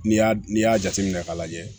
N'i y'a n'i y'a jateminɛ k'a lajɛ